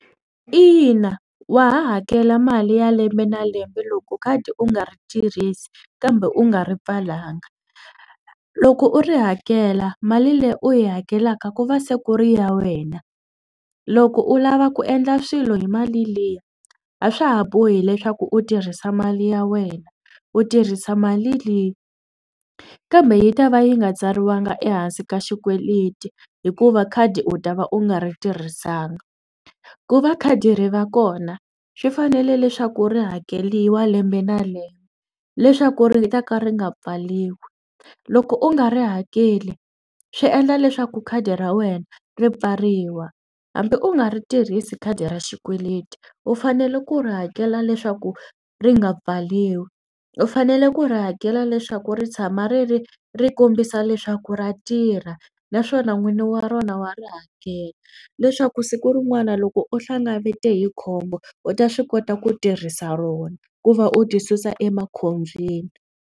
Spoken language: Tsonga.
Ina wa ha hakela mali ya lembe na lembe loko khadi u nga ri tirhisi kambe u nga ri pfalanga. Loko u ri hakela mali leyi u yi hakelaka ku va se ku ri ya wena loko u lava ku endla swilo hi mali liya a swa ha bohi leswaku u tirhisa mali ya wena u tirhisa mali liya kambe yi ta va yi nga tsariwangi ehansi ka xikweleti hikuva khadi u ta va u nga ri tirhisanga. Ku va khadi ri va kona swi fanele leswaku ri hakeriwa lembe na lembe leswaku ri ta ka ri nga pfaliwi. Loko u nga ri hakeli swi endla leswaku khadi ra wena ri pfariwa hambi u nga ri tirhisi khadi ra xikweleti u fanele ku ri hakela leswaku ri nga pfaliwi. U fanele ku ri hakela leswaku ri tshama ri ri ri kombisa leswaku ra tirha naswona n'wini wa rona wa ri hakela leswaku siku rin'wani loko u hlangavete hi khombo u ta swi kota ku tirhisa rona ku va u ti susa emakhobyeni.